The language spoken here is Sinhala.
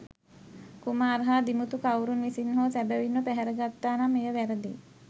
කුමාර් හා දිමුතු කවුරුන් විසින් හෝ සැබැවින්ම පැහැර ගත්තා නම් එය වැරදිය.